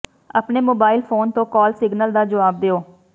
ਆਪਣੇ mobile phone ਤੋਂ call signal ਦਾ ਜਵਾਬ ਦਿਓ